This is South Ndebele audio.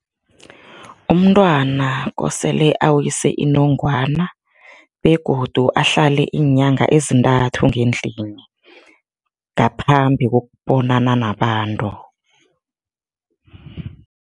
Umntwana kosele awise inongwana begodu ahlale iinyanga ezintathu ngendlini, ngaphambi kokubonana nabantu.